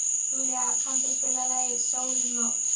Júlí, kanntu að spila lagið „Sól um nótt“?